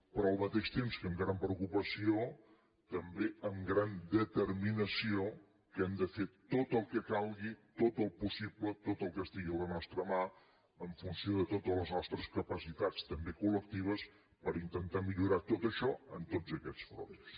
però al mateix temps que amb gran preocupació també amb gran determinació que hem de fer tot el que calgui tot el possible tot el que estigui a la nostra mà en funció de totes les nostres capacitats també colper intentar millorar tot això en tots aquests fronts